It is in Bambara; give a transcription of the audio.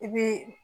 I bi